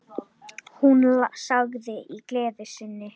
Hún sagði í gleði sinni: